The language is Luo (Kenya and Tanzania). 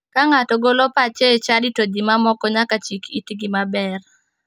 Ka ng'ato golo pache e chadi to ji ma moko nyaka chik itgi maber.